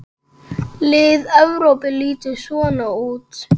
Lið Evrópu lítur svona út